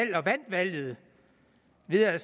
bliver